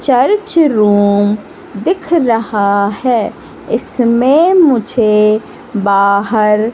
church room दिख रहा है इसमें मुझे बाहर--